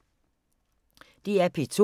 DR P2